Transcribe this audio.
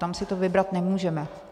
Tam si to vybrat nemůžeme.